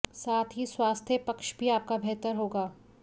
साथ ही स्वास्थ्य पक्ष भी आपका बेहतर होगा